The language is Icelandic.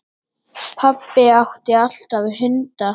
Pabbi átti alltaf hunda.